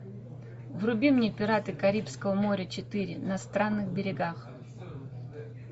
вруби мне пираты карибского моря четыре на странных берегах